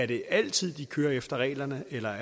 de altid kører efter reglerne eller